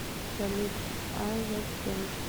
салют а затем